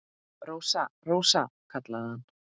Rósa, Rósa, kallaði hann.